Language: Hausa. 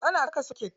Ana saka soket.